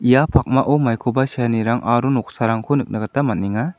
ia pakmao maikoba seanirang aro noksarangko nikna gita man·enga.